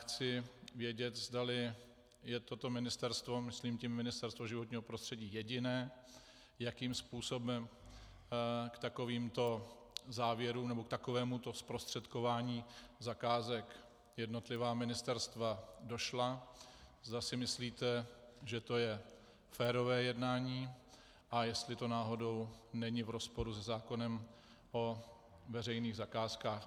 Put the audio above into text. Chci vědět, zdali je toto ministerstvo, myslím tím Ministerstvo životního prostředí, jediné, jakým způsobem k takovýmto závěrům nebo k takovémuto zprostředkování zakázek jednotlivá ministerstva došla, zda si myslíte, že to je férové jednání, a jestli to náhodou není v rozporu se zákonem o veřejných zakázkách.